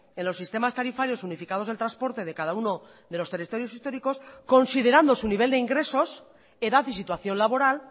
en los sistemas tarifarios unificados del transporte de cada uno de los territorios históricos considerando su nivel de ingresos edad y situación laboral